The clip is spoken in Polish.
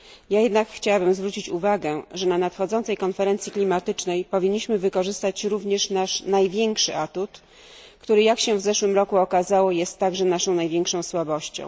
Ja jednak chciałabym zwrócić uwagę, że na nadchodzącej konferencji klimatycznej powinniśmy wykorzystać również nasz największy atut, który, jak się w zeszłym roku okazało, jest także naszą największą słabością.